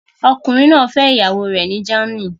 Ọkùnrin náà fẹ́ ìyàwó rẹ̀ ní Germany